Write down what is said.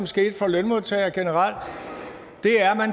skete for lønmodtagere generelt